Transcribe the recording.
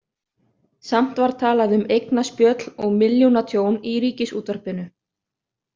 Samt var talað um eignaspjöll og „milljónatjón“ í Ríkisútvarpinu.